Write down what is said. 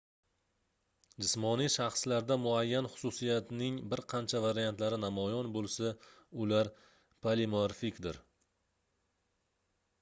jismoniy shaxslarda muayyan xususiyatning bir qancha variantlari namoyon boʻlsa ular polimorfikdir